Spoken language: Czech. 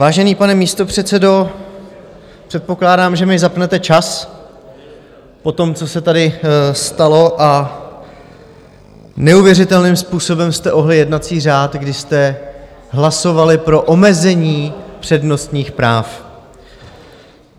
Vážený pane místopředsedo, předpokládám, že mi zapnete čas po tom, co se tady stalo, a neuvěřitelným způsobem jste ohnuli jednací řád, kdy jste hlasovali pro omezení přednostních práv.